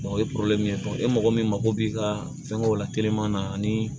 o ye e mɔgɔ min mago b'i ka fɛngɛw la teliman na ani